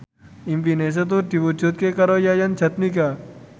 impine Setu diwujudke karo Yayan Jatnika